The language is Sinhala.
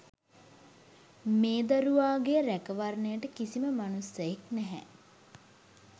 මේ දරුවා ගේ් රැකවරණයට කිසිම මනුස්සයෙක් නැහැ